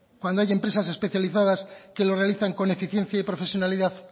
cuando hay empresas especializadas que lo realizan con eficiencia y profesionalidad